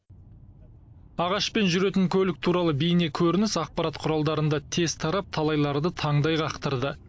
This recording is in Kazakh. ағашпен жүретін көлік туралы бейнекөрініс ақпарат құралдарында тез тарап талайларды таңдай қақтырды